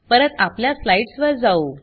परत आपल्या स्लाइड्स वर जाऊ